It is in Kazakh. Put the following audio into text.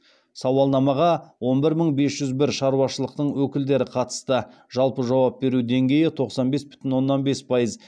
сауалнамаға он бір мың бес жүз бір шаруашылықтың өкілдері қатысты жалпы жауап беру деңгейі тоқсан бес бүтін оннан бес пайыз